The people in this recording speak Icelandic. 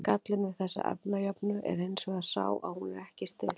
gallinn við þessa efnajöfnu er hins vegar sá að hún er ekki stillt